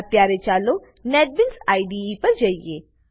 અત્યારે ચાલો NetBeans IDE પર જઈએ